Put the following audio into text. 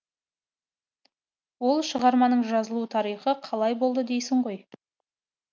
ол шығарманың жазылу тарихы қалай болды дейсің ғой